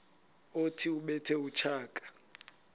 othi ubethe utshaka